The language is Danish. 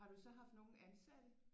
Har du så haft nogen ansatte?